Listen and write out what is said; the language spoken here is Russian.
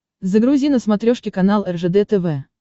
загрузи на смотрешке канал ржд тв